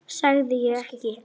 Sagði ég ekki?